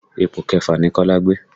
Ipò kẹfà ni Kola gbé